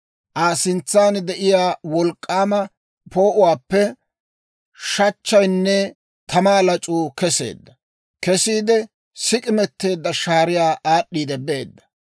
Aa sintsan de'iyaa wolk'k'aama poo'uwaappe shachchaynne tamaa lac'uu keseedda; Kesiide sik'imeteedda shaariyaa aad'd'iidde beedda.